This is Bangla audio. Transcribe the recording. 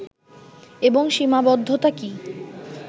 এবং সীমাবদ্ধতা কি